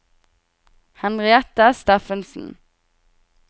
Henriette Steffensen